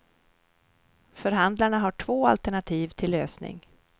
Förhandlarna har två alternativ till lösning.